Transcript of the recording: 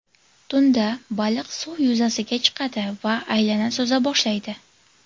Tunda baliq suv yuzasiga chiqadi va aylana suza boshlaydi.